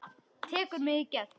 Tekur mig í gegn.